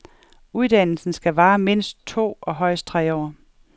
Uddannelsen skal vare mindst to og højst tre år.